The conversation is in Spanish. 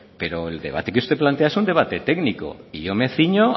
pero el debate que usted plantea es un debate técnico y yo me ciño